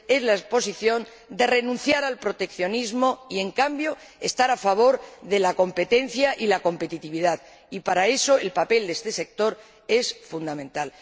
la posición de renunciar al proteccionismo y, en cambio, estar a favor de la competencia y la competitividad y, para eso, el papel de este sector es fundamental.